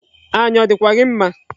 Anya ọ dịkwa gị mma?